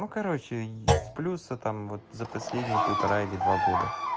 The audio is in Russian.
ну короче с плюса там вот за последние полтора или два года